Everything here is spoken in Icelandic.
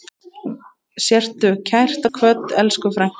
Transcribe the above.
Sértu kært kvödd, elsku frænka.